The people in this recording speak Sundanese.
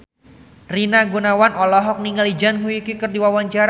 Rina Gunawan olohok ningali Zhang Yuqi keur diwawancara